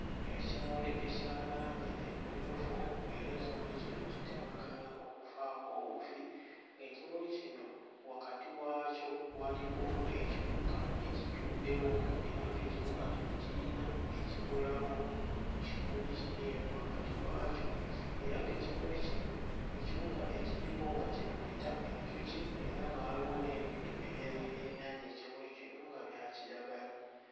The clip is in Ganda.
Ekimuli ekya langi emmyufu era ekimuli kino kitemagana okufaako obufi, ekimuli kino wakati waakyo waliwo ekiwuka ekituddewo era ng'ekiwuka kino kiyina bye kikolawo ku kimuli kino eno wakati wakyo era ng'ekimuli kino ekiwuka ekiriko nga kye tuyita enjuki era nga waliwo n'ebintu ebirala ebirinaanye ekimuli kino nga bya kiragala.